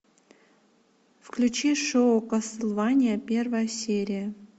включи шоу кастлвания первая серия